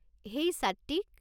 হেই Satwik!